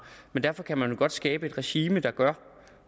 men derfor kan man jo godt skabe et regime der gør